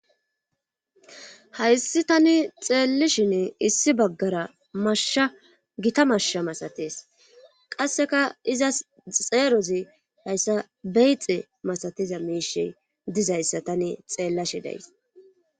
Hayssi tani xeellishin issi baggara mashsha gita mashsha masates qasseka izas xeerozi hayssa beyxe masatiza miishi dizayssa tani xeellashidays